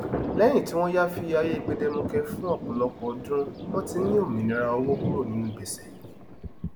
lẹyìn tí wọn yááfì ayé gbẹdẹmukẹ fún ọpọlọpọ ọdún wọn ti ń ní òmìnira owó kúrò ninú gbèsè